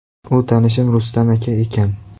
U tanishim Rustam aka ekan.